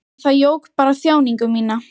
En það jók bara þjáningu mína.